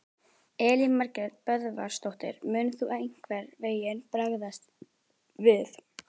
Elín Margrét Böðvarsdóttir: Mun þú einhvern veginn bregðast við?